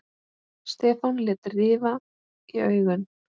Stefán lét rifa í augun.